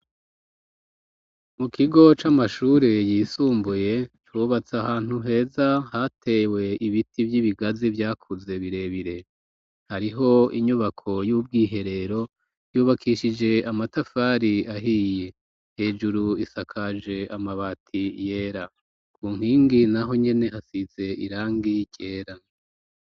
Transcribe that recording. Mu kigo c'amashure yisumbuye cubatse ahantu heza hatewe ibiti vy'ibigazi vyakuze birebire. Hariho inyubako y'ubwiherero yubakishije amatafari ahiye. Hejuru isakaje amabati yera. Ku nkingi naho nyene hasize irangi ryera.